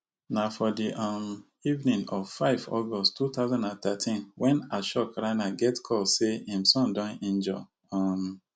na for di um evening of five august two thousand and thirteen wen ashok rana get call say im son don injure um